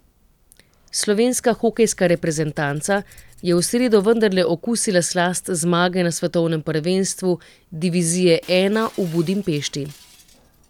Slovenska hokejska reprezentanca je v sredo vendarle okusila slast zmage na svetovnem prvenstvu divizije I v Budimpešti.